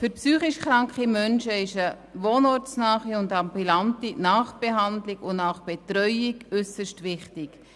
Für psychisch kranke Menschen ist eine wohnortnahe, ambulante Nachbehandlung und Nachbetreuung äusserst wichtig.